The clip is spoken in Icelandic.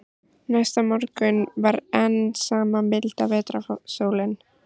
Næsta morgun var enn sama milda vetrarsólin.